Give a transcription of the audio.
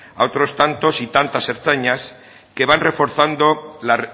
a otros tantos y tantas ertzainas que van reforzando la